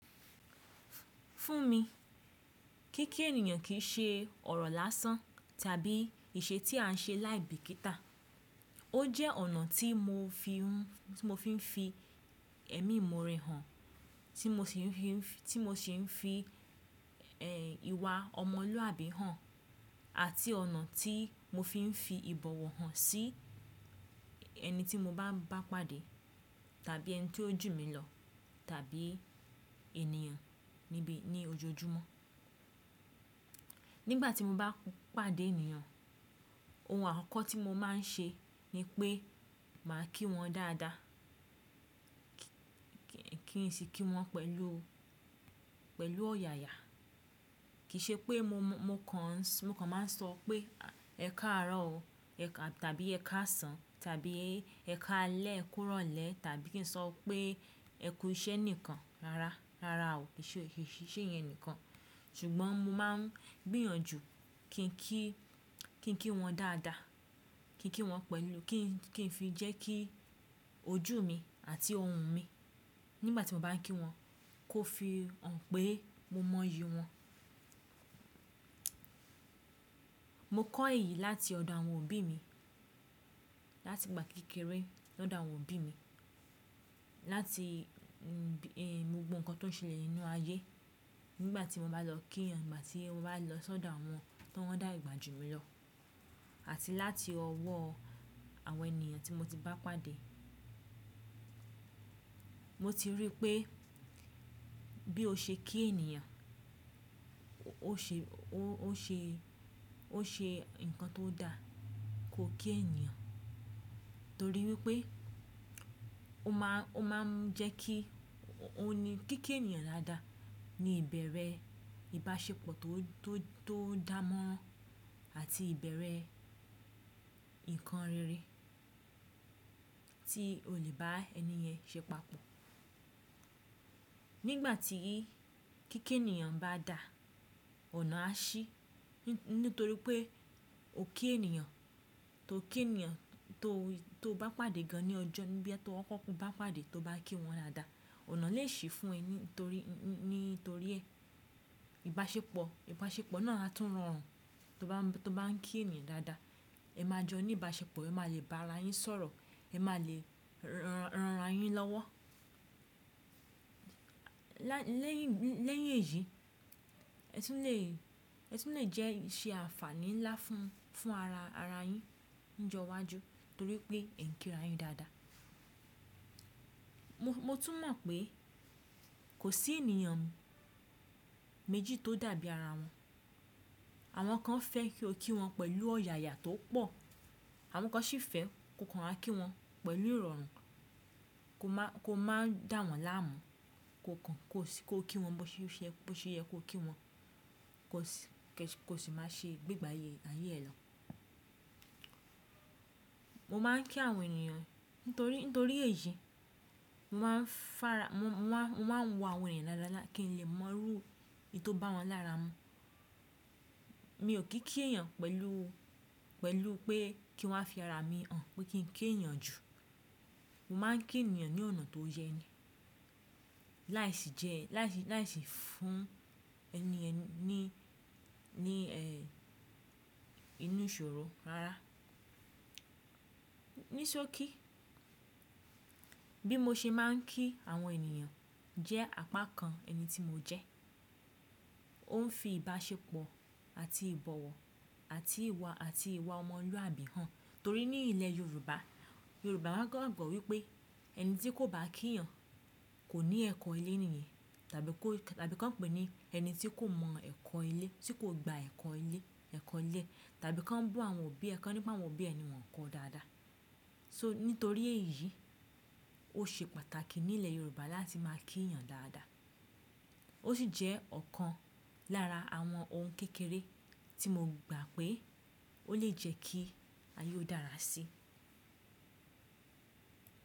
Fún mi, kíkẹ́ ènìyàn kì í ṣe ọ̀rọ̀ lásán tàbí ìṣe tí à ń ṣe láì bìkítà Ó jẹ́ ọ̀nà tí mo fi ń fi ẹ̀mí ìmoore hàn, tí mo sì ń fi ìwà ọmọlúwàbí hàn àti ọ̀nà tí mo fi ń fi ìbọ̀wọ̀ hàn sí ẹni tí mo bá ń bá pàdé tàbí ẹni tí ó jù mí lọ tàbí ènìyàn níbi ní ojoojúmọ́. Nígbà tí mo bá ń pàdé ènìyàn, ohun àkọ́kọ́ tí mo máa ń ṣe ni pé màá kí wọn dáadáa. Kì ín sì kí wọn pẹ̀lú ọ̀yàyà. Kì í ṣe pé mo kan máa ń sọ pé "ẹ káàárọ̀ o" tàbí "ẹ káàsán" tàbí "ẹ káalẹ́" kúròlẹ́ tàbí kí n sọ pé ẹ kú iṣẹ́ nìkan. Rárá o, kìiṣèyẹn nìkan. Ṣùgbọ́n mo máa ń gbìyànjú kí n kí wọn dáadáa, kí n kí wọn pẹ̀lú, kí n fi jẹ́ kí ojú mi àti ohùn mi nígbà tí mo bá ń kí wọn kó fi hàn pé mo mọyì wọ́n. Mo kọ́ èyí láti ọ̀dọ̀ àwọn òbí mi, láti ìgbà kékeré lọ́dọ̀ àwọn òbí mi. Láti gbogbo nǹkan tó ń ṣẹlẹ̀ nínú ayé. Nígbà tí mo bá lọ kí ènìyàn, ìgbà tí mo bá lọ sódò àwọn tó ń dà ìgbà jù mí lọ àti láti ọwọ́ àwọn ènìyàn tí mo ti bá pàdé. Mo ti rí i pé bí o ṣe kí ènìyàn, o ó ṣe nǹkan tó dà. Ko kí ènìyàn torí wípé ó máa ń jẹ́ kí, ó ní, kíkẹ́ ènìyàn dáadáa ni ìbẹ̀rẹ̀ ìbáṣepọ̀ to to tó dà mọ́ ran àti ìbẹ̀rẹ̀ nǹkan rere tí o lè bá ẹni yẹn ṣe papọ̀. Nígbà tí kíkẹ́ ènìyàn bá dà, ọ̀nà á ṣí nítorí pé o kí ènìyàn, to kí ènìyàn to tó bá pàdé gan ní ọjọ́ níbi ẹ́ tó kọ́kọ́ bá pàdé tó bá kí wọn dáadáa, ọ̀nà lè ṣí fún ẹ nítorí ẹ. Ìbáṣepọ̀ náà á tún rọrùn to ba n tó bá ń kí ènìyàn dáadáa. Ẹ máa jọ ní ìbáṣepọ̀, ẹ máa lè bá ara yín sọ̀rọ̀, ẹ máa lè ran ran are yín lọ́wọ́. Lẹ́yìn èyí, ẹ tun lè jẹ́ ṣe àǹfààní ńlá fún ara yín ní ọjọ́ iwájú torí pé ẹ̀ ń kí ara yín dáadáa. Mo tún mọ̀ pé kò sí ènìyàn méjì tó dàbí ara wọn. Àwọn kan fẹ́ kí o kí wọn pẹ̀lú ọ̀yàyà tó pọ̀. Àwọn kan sì fẹ́ ko kan há kí wọn pẹ̀lú ìrọ̀rùn, ko máa ń dà wọ́n láàmú, ko kí wọn bó ṣe yẹ kó kí wọn, kò sì máa ṣe gbégbá ayé ẹ lọ. Mo máa ń kí àwọn ènìyàn nítorí èyí. Mo máa ń wo àwọn èeyàn daadaa kí n lè mọrú in tó bá wọn lára mu. Mi ò kí kí ènìyàn pẹ̀lú pé kí wọ́n fi ara mi hàn pé kí n kí ènìyàn jù. Mo máa ń kí ènìyàn ní ọ̀nà tó yẹ ni. Láì sì jẹ́, láì sì fún ẹniyen ní inú ìṣòro rárá. Nisó kí. Bí mo ṣe máa ń kí àwọn ènìyàn jẹ́ àpá kan ẹni tí mo jẹ́. Ó ń fi ìbáṣepọ̀ àti ìbọ̀wọ̀ àti ìwà ọmọlúwàbí hàn torí ní ilẹ̀ Yorùbá, Yorùbá máa ń gbàgbọ́ wípé ẹni tí kò bá kí ènìyàn kò ní ẹ̀kọ́ ilé nìyẹn tàbí ko tabi kàn pè ní ẹni tí kò mọ ẹ̀kọ́ ilé, tí kò gba ẹ̀kọ́ ilé, ẹ̀kọ́ ilé tàbí kan bú àwọn òbí ẹ, kan nípa àwọn òbí ẹ ni wọn kọ dáadáa. So nítorí èyí, ó ṣe pàtàkì ní ilẹ̀ Yorùbá láti máa kí ènìyàn dáadáa. Ó sì jẹ́ ọ̀kan lára àwọn ohun kékeré tí mo gbà pé ó lè jẹ́ kí ayé ó dára síi.